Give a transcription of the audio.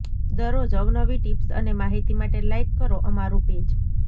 દરરોજ અવનવી ટીપ્સ અને માહિતી માટે લાઇક કરો અમારું પેજ